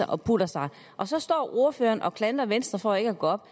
og puttede sig og så står ordføreren og klandrer venstre for ikke at gå op